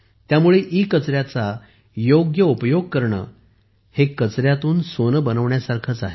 त्यामुळे ईकचऱ्याचा योग्य उपयोग करणे हे कचऱ्यातून सोने बनवण्यासारखेच आहे